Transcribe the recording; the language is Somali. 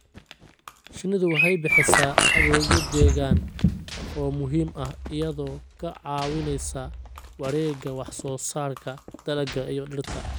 Shinnidu waxay bixisaa adeegyo deegaan oo muhiim ah iyadoo ka caawinaysa wareegga wax soo saarka dalagga iyo dhirta.